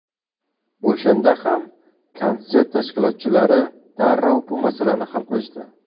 O‘shanda ham konsert tashkilotchilari darrov bu masalani hal qilishdi.